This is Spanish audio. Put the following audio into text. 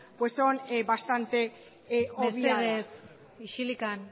son bastantes obviadas mesedez isildu